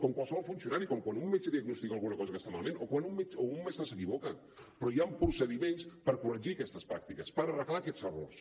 com qualsevol funcionari com quan un metge diagnostica alguna cosa que està malament o quan un mestre s’equivoca però hi han procediments per corregir aquestes pràctiques per arreglar aquests errors